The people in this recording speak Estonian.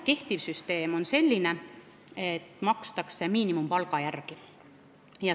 Kehtiv süsteem on selline, et makstakse miinimumpalga järgi.